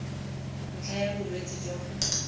ntlha ya bolwetse jwa go